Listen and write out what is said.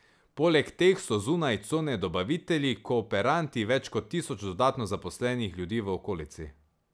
Poleg teh so zunaj cone dobavitelji, kooperanti, več kot tisoč dodatno zaposlenih ljudi v okolici.